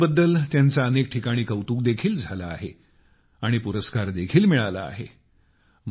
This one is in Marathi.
या प्रयत्नांबद्दल त्यांचे अनेक ठिकाणी कौतुक देखील झाले आहे आणि पुरस्कार देखील मिळाला आहे